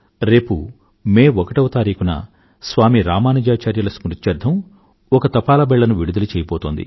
భారత ప్రభుత్వం రేపు మే ఒకటవ తారీఖున స్వామి రామానుజాచార్యుల స్మృత్యర్థం ఒక తపాలా బిళ్లను విడుదల చెయ్యబోతోంది